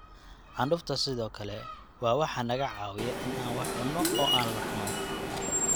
Candhuufta sidoo kale waa waxa naga caawiya in aan wax cunno oo laqno.